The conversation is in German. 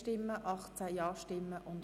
Abstimmung (Art. 134;